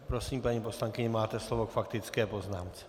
Prosím, paní poslankyně, máte slovo k faktické poznámce.